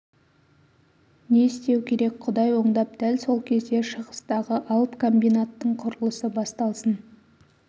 не істеу керек құдай оңдап дәл сол кезде шығыстағы алып комбинаттың құрылысы басталсын